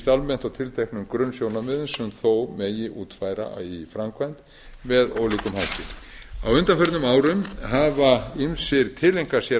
almennt á tilteknum grunnsjónarmiðum sem þó megi útfæra í framkvæmd með ólíkum hætti á undanförnum árum hafa ýmsir tileinkað sér